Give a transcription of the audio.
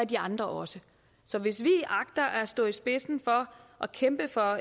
de andre også så hvis vi agter at stå i spidsen for og kæmpe for